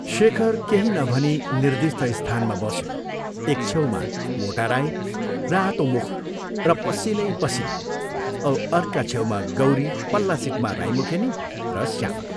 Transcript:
शेखर केही नभनी निर्दिष्ट स्थानमा बस्यो एक छेउमा मोटा राई रातो मुख र पसीनै पसीना औ अर्का छेउमा गौरी पल्ला सीटमा राई मुखेनी र श्यामा।